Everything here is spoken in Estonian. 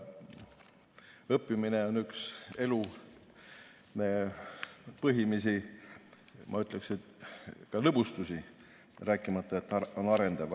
Õppimine on üks elu põhimisi, ma ütleksin, lõbustusi, rääkimata sellest, et see on arendav.